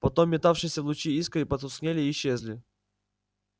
потом метавшиеся в луче искры потускнели и исчезли